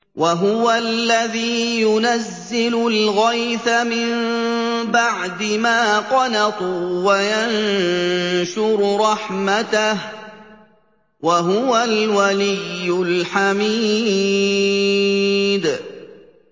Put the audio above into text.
وَهُوَ الَّذِي يُنَزِّلُ الْغَيْثَ مِن بَعْدِ مَا قَنَطُوا وَيَنشُرُ رَحْمَتَهُ ۚ وَهُوَ الْوَلِيُّ الْحَمِيدُ